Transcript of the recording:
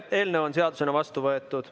Eelnõu on seadusena vastu võetud.